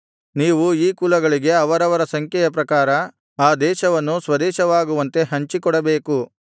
ನೀವು ಈ ಕುಲಗಳಿಗೆ ಅವರವರ ಸಂಖ್ಯೆಯ ಪ್ರಕಾರ ಆ ದೇಶವನ್ನು ಸ್ವದೇಶವಾಗುವಂತೆ ಹಂಚಿಕೊಡಬೇಕು